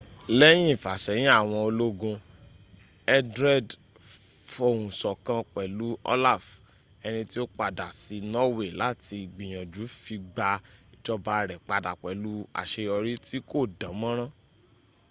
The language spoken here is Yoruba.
lẹ́yìn ìfàṣẹ́yìn àwọn ológun etherlred fohùnsọ̀kan pẹ̀lú olaf ẹni tí ó padà sí norway láti gbìyànjú fi gba ìjọba rẹ̀ padà pẹlù àṣeyọrí tí kò dán mọ́rán